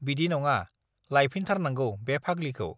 बिदि नङा, लायफिनथारनांगौ बे फाग्लिखौ।